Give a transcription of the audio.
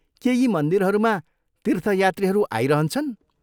के यी मन्दिरहरूमा तीर्थयात्रीहरू आइरहन्छन्?